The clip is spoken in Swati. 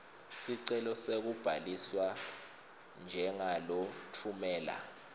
sicelo sekubhaliswa njengalotfumela